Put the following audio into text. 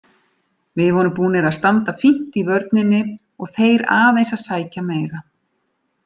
Við vorum búnir að standa fínt í vörninni og þeir aðeins að sækja meira.